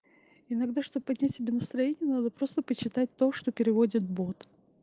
иногда чтобы поднять себе настроение надо просто почитать то что переводит бот